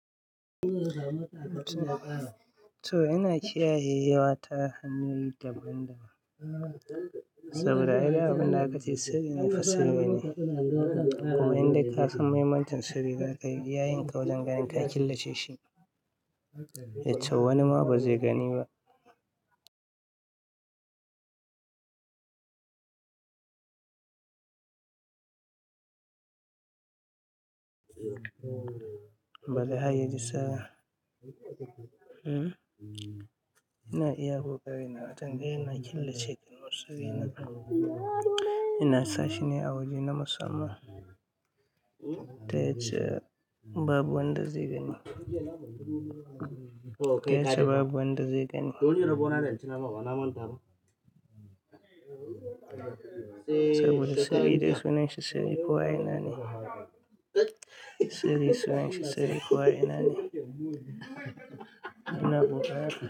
To ina kiyaye rayuwa ta hanyoyi daban-daban saboda ai duk abunda aka ce sirri ne fa sirri ne. Kuma in dai ka san mahimmancin sirri, za ka yi iya yinka wajen ganin ka killace shi to wani ma ba zai gani ba. Ba za a yi risa. Ina iya koƙari na, don ganin na killace wasu sirri na. Ina sa shine awaje na musamman. Ta yace babu wanda zai gani. Ta yace babu wanda zai gani. Saboda sirri dai sunan shi sirri ko a ina ne. Sirri suna shi sirri ko a ina ne. Ina kokarin.